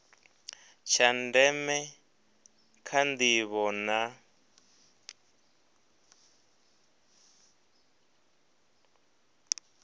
tsha ndeme kha ndivho na